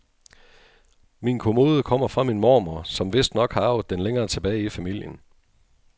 Min kommode kommer fra min mormor, som vistnok har arvet den længere tilbage i familien.